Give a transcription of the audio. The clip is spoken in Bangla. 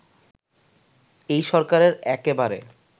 এই সরকারের একেবারে